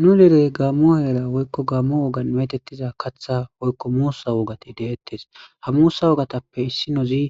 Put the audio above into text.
Nu direy gammo heera woykko gammo wogan metettiza katha woykko muussa wogati deettes ha muusa wogatappe issi nozi